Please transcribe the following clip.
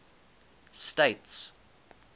states